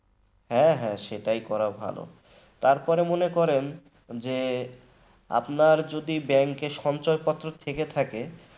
হ্যাঁ হ্যাঁ সেটাই করা ভালো তারপরে মনে করেন যে আপনার যদি bank সঞ্চয়পত্র থেকে থাকে